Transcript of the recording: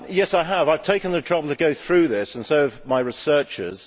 I have taken the trouble to go through this and so have my researchers.